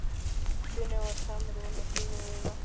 Finnur fyrir samruna sínum við náttúruna.